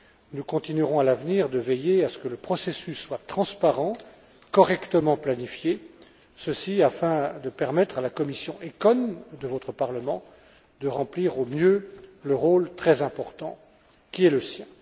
À l'avenir, nous continuerons de veiller à ce que le processus soit transparent, correctement planifié, ceci afin de permettre à la commission ECON de votre Parlement de remplir au mieux le rôle très important qui est le sien.